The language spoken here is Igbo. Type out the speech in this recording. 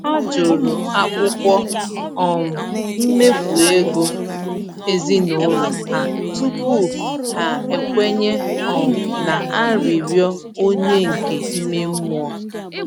Ha jụrụ akwụkwọ um mmefu ego ezinụlọ ha tupu ha ekwenye um na arịrịọ onyinye nke ime mmụọ.